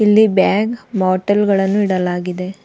ಇಲ್ಲಿ bag bottle ಗಳನ್ನೂ ಇಡಲಾಗಿದೆ.